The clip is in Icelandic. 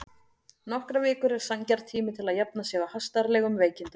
Nokkrar vikur eru sanngjarn tími til að jafna sig á hastarlegum veikindum.